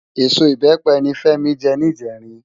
Ésó ibèpe ni Femi jè nijèrin